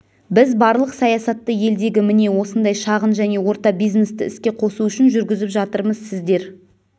біз барлық саясатты елдегі міне осындай шағын және орта бизнесті іске қосу үшін жүргізіп жатырмыз сіздер